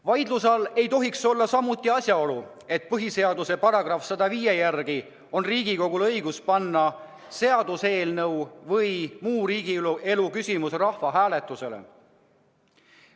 Vaidluse all ei tohiks samuti olla asjaolu, et põhiseaduse § 105 järgi on Riigikogul õigus panna seaduseelnõu või muu riigielu küsimus rahvahääletusele.